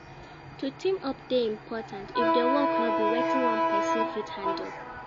To team up de important if di work no be wetin one persin fit handle